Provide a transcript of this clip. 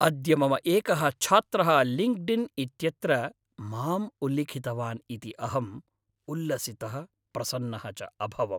अद्य मम एकः छात्रः लिङ्क्डिन् इत्यत्र माम् उल्लिखितवान् इति अहम् उल्लसितः प्रसन्नः च अभवम्।